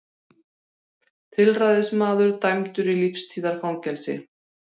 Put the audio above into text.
Tilræðismaður dæmdur í lífstíðarfangelsi